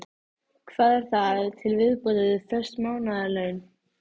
Mikið magn perlusteins er í Loðmundarfirði og Prestahnúk á Kaldadal.